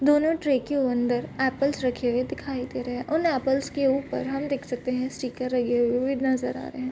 दोने ट्रे के अंदर एपल्स रखे हुए दिखाई दे रहे है उन एपल्स के ऊपर हम देख सकते है स्टीकर लगे हुए भी नजर आ रहे है।